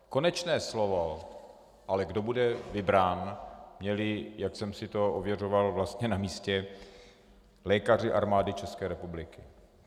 Konečné slovo ale, kdo bude vybrán, měli, jak jsem si to ověřoval vlastně na místě, lékaři Armády České republiky.